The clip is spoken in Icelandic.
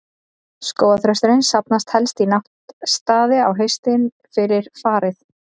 Skógarþrösturinn safnast helst í náttstaði á haustin, fyrir farið.